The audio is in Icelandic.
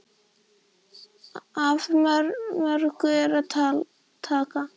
Af mörgu er að taka.